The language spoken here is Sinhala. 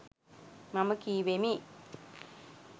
මම කීවෙමි.